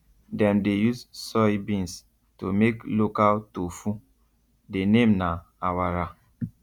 dem dey use soybeans to make local tofu the name na awara